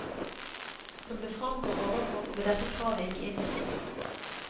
Som det fremgår overfor, ble dette kravet ikke innfridd.